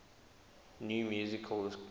new musical express